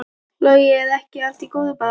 Logi: Er ekki allt í góðu bara?